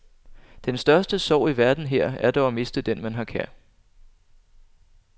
Den største sorg i verden her er dog at miste den man har kær.